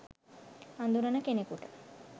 අඳුරන කෙනෙකුට